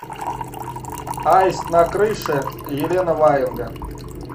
аист на крыше елена ваенга